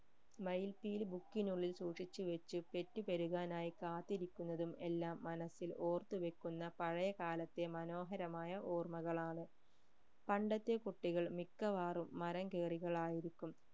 മയിൽ‌പീലി book നുള്ളിൽ സൂക്ഷിച്ചുവെച് പെറ്റുപെരുകാനായി കാത്തിരിക്കുന്നതും എല്ലാം മനസ്സിൽ ഓർത്തുവെക്കുന്ന പഴയ കാലത്തേ മനോഹരമായ ഓർമ്മകളാണ് പണ്ടത്തെ കുട്ടികൾ മിക്കവാറും മരം കേറികളായിരിക്കും